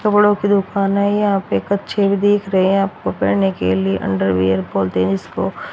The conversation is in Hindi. कपड़ों की दुकान है यहां पे कच्छे भी दीख रहे हैं आपको पहने के लिए अंडरवियर जिसको--